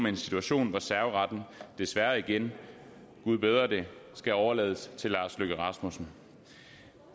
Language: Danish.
en situation hvor serveretten desværre igen gud bedre det skal overlades til herre lars løkke rasmussen